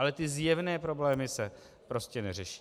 Ale ty zjevné problémy se prostě neřeší.